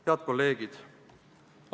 Head kolleegid!